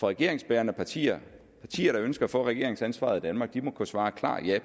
regeringsbærende partier partier der ønsker at få regeringsansvaret i danmark må kunne svare klart ja